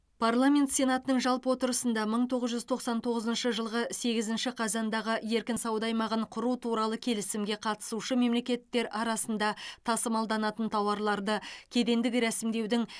парламент сенатының жалпы отырысында мың тоғыз жүз тоқсан тоғызыншы жылғы сегзінші қазандағы еркін сауда аймағын құру туралы келісімге қатысушы мемлекеттер арасында тасымалданатын тауарларды кедендік ресімдеудің